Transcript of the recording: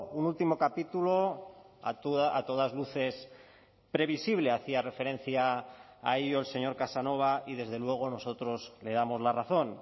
un último capítulo a todas luces previsible hacía referencia a ello el señor casanova y desde luego nosotros le damos la razón